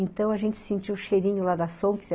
Então, a gente sentia o cheirinho lá da Sonksen.